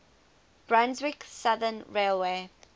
brunswick southern railway